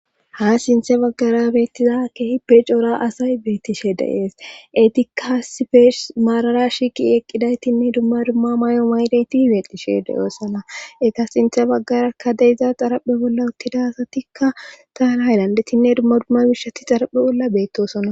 Ha sinthe baggara beettiza keehi pe coora asay beettishe de7ees etikka sipeesh maarara shiiqi eqqidaytinne dumma dumma may7o maydeyti hibeetishe de7oossana eka sinthe baggarakka de iza xaraphe bolla uttida asatikka taalahay landetinne dumma dumma bishati xaraphe bolla beettosona.